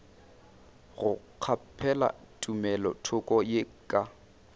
go kgaphela tumelothoko ye ka